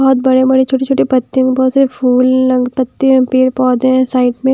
बहोत बड़े बड़े छोटे छोटे पत्ते हैं बहोत सारे फूल ल पत्ते मे पेड़ पौधे हैं साइड में--